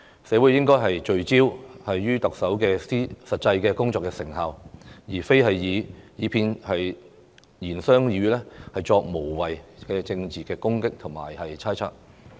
社會應聚焦於特首的實際工作成效，而非以其片言隻語作無謂的政治攻擊和猜測。